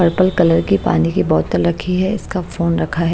Purple colour की पानी की बोतल रखी है इसका फोन रखा है।